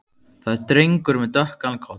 Það er drengur með dökkan koll.